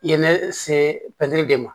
I ye ne se pɛtiri de ma